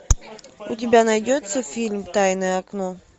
у тебя найдется фильм тайное окно